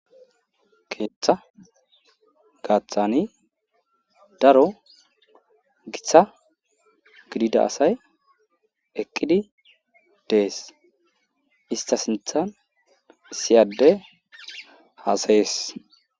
keeththa gaaththani daro gita gidida asay eqqidi dees ista sinthan issi adey hasayees